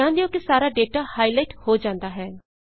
ਧਿਆਨ ਦਿਓ ਕਿ ਸਾਰਾ ਡੇਟਾ ਹਾਈਲਾਈਟ ਹੋ ਜਾਂਦਾ ਹੈ